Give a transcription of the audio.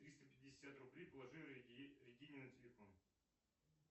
триста пятьдесят рублей положи регине на телефон